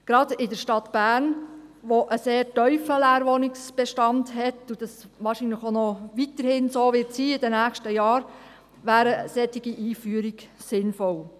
Gerade in der Stadt Bern, wo ein sehr tiefer Leerwohnungsbestand herrscht – was in den nächsten Jahren wohl so bleiben wird –, wäre eine solche Einführung sinnvoll.